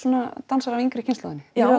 dansara af yngri kynslóðinni já